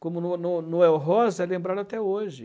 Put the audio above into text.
Como Noe Noe Noel Rosa é lembrado até hoje.